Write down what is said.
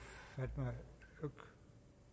meget